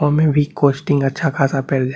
ओमें भी कोस्टिंग अच्छा-खासा पेल --